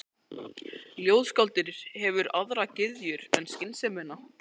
Ljóðskáldið hefur aðrar gyðjur en skynsemina.